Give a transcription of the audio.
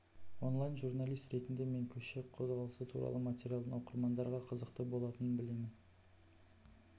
онлайн журналист ретінде мен көше қозғалысы туралы материалдың оқырмандарға қызықты болатынын білемін